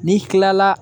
N'i kilala